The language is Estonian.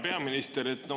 Hea peaminister!